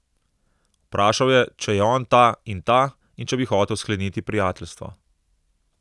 Vprašal je, če je on ta in ta, in če bi hotel skleniti prijateljstvo.